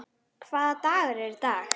Hvaða dagur er í dag?